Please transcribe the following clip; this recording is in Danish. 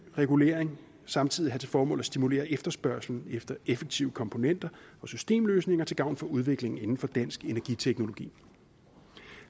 regulering samtidig have til formål at stimulere efterspørgslen efter effektive komponenter og systemløsninger til gavn for udviklingen inden for dansk energiteknologi